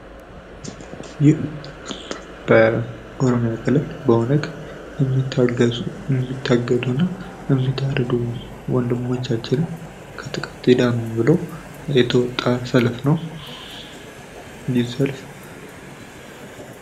ይህ በምስሉ ላይ የምናየው የሃገራችን ወጣቶች ትውልድ ይዳን በማልት ለትውልድ ብለው ሰልፍ ወተው የሚያሳይ ምስል ነው።